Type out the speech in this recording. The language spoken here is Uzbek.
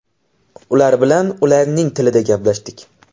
Ular bilan ularning tilida gaplashdik.